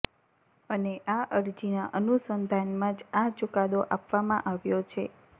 અને આ અરજીના અનુસંધાનમાં જ આ ચુકાદો આપવામાં આવ્યો છે